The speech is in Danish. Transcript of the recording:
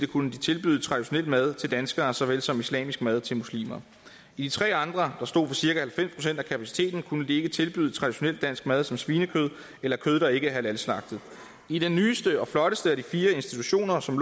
kunne de tilbyde traditionel mad til danskere såvel som islamisk mad til muslimer i de tre andre kunne de ikke tilbyde traditionel dansk mad som svinekød eller kød der ikke er halalslagtet i den nyeste og flotteste af de fire institutioner som